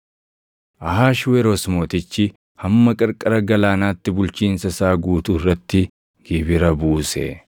Ahashweroos Mootichi hamma qarqara galaanaatti bulchiinsa isaa guutuu irratti gibira buuse.